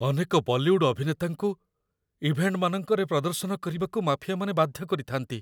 ଅନେକ ବଲିଉଡ ଅଭିନେତାଙ୍କୁ ଇଭେଣ୍ଟମାନଙ୍କରେ ପ୍ରଦର୍ଶନ କରିବାକୁ ମାଫିଆମାନେ ବାଧ୍ୟ କରିଥାନ୍ତି।